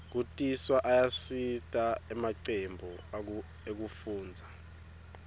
kutiswa ayasita emacembu ekufundza